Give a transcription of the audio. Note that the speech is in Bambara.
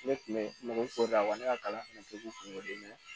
Ne tun bɛ mɔgɔw ko dawa ne ka kalan fana tɛ k'u kungolo dimi